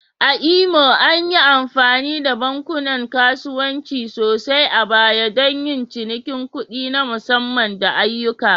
A Imo, an yi amfani da bankunan kasuwanci sosai a baya don yin cinikin kuɗi na musamman da ayyuka?